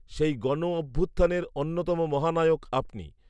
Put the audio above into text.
সেই গণঅভ্যুত্থানের অন্যতম মহানায়ক আপনি